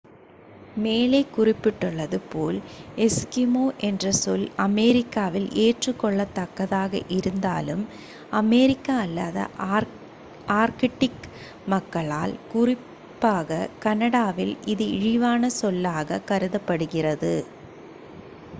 "மேலே குறிப்பிட்டுள்ளது போல் "எஸ்கிமோ" என்ற சொல் அமெரிக்காவில் ஏற்றுக்கொள்ளத்தக்கதாக இருந்தாலும் அமெரிக்கா அல்லாத ஆர்க்டிக் மக்களால் குறிப்பாக கனடாவில் இது இழிவான சொல்லாகக் கருதப்படுகிறது.